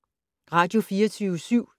Radio24syv